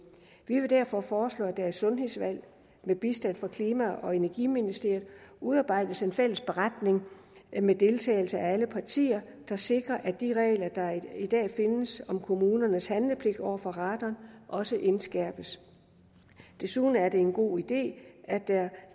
vi vil derfor foreslå at der i sundhedsudvalget med bistand fra klima og energiministeriet udarbejdes en fælles beretning med deltagelse af alle partier der sikrer at de regler der i dag findes om kommunernes handlepligt over for radon også indskærpes desuden er det en god idé at der